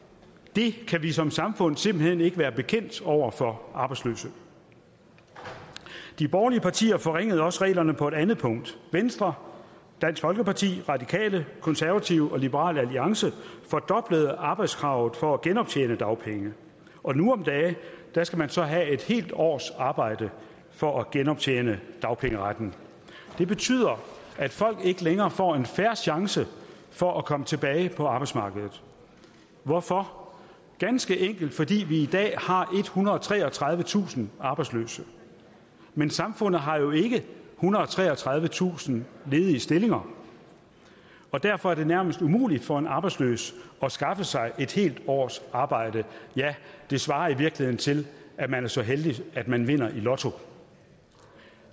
det kan vi som samfund simpelt hen ikke være bekendt over for de arbejdsløse de borgerlige partier forringede også reglerne på et andet punkt venstre dansk folkeparti radikale konservative og liberal alliance fordoblede arbejdskravet for at genoptjene dagpenge og nu om dage skal man så have et helt års arbejde for at genoptjene dagpengeretten det betyder at folk ikke længere får en fair chance for at komme tilbage på arbejdsmarkedet hvorfor det ganske enkelt fordi vi i dag har ethundrede og treogtredivetusind arbejdsløse men samfundet har jo ikke ethundrede og treogtredivetusind ledige stillinger derfor er det nærmest umuligt for en arbejdsløs at skaffe sig et helt års arbejde det svarer i virkeligheden til at man er så heldig at man vinder i lotto